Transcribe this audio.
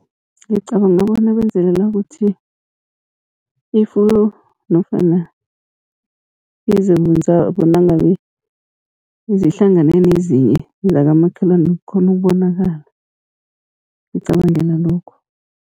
Ngicabanga bona benzelela ukuthi, ifuyo nofana izimvu zabo nangabe zihlangane nezinye zakamakhelwana kukghone ukubonakala, ngicabangela lokho.